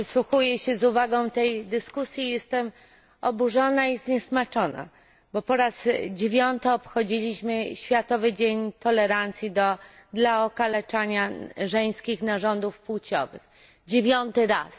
Przysłuchuję się z uwagą tej dyskusji i jestem oburzona i zniesmaczona, bo po raz dziewiąty obchodziliśmy Światowy Dzień Zerowej Tolerancji dla Okaleczania Żeńskich Narządów Płciowych dziewiąty raz.